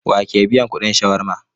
Wa ke biyan kudin shawarma?